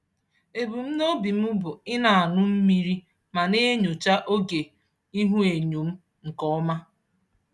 Ebumnobi m bụ ị na-aṅụ mmiri ma na-enyocha oge ihuenyo m nke ọma.